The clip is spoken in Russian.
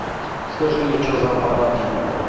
скажи мне что за аппарат ебать